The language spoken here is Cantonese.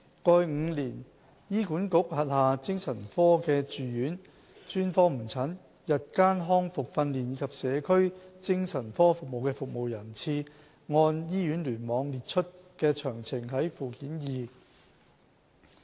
過去5年醫管局轄下精神科的住院、專科門診、日間復康訓練及社區精神科服務的服務人次，按醫院聯網列出的詳情見附件二。